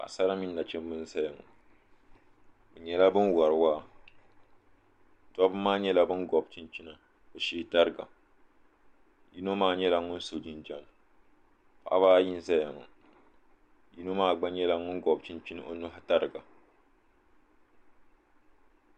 paɣisari mini nachimba n zala ŋɔ be nyɛla bini wari waa doba maa nyɛla ban kobi chɛnina be shɛɛ tariga yino maa nyɛla ŋɔ so jinjam paɣbaayi n zaya ŋɔ yino maa gba nyɛla ŋɔ gobi chɛnichɛni o nyɛɣi tariga